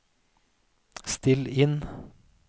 still inn